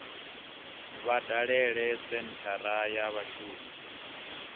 vha dalele senthara ya vhashumi